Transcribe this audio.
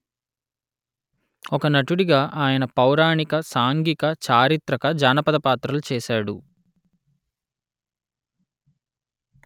ఒక నటుడిగా ఆయన పౌరాణిక సాంఘిక చారిత్రక జానపద పాత్రలు చేసాడు